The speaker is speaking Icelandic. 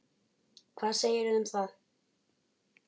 Hvað segirðu um það?